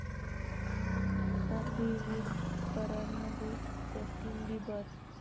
coffee with करण'मध्ये Justin Bieber